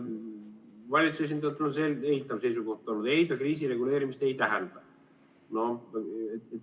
Valitsuse esindajalt on tulnud selgelt eitav seisukoht: ei, see kriisireguleerimist ei tähenda.